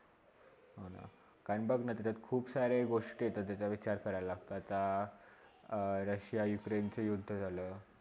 कारण बघ ना तेथे खुप साऱ्या गोष्टी येतात त्याचा विचार करावे लागतात आत रशिया युक्रेन च युद्ध झाला.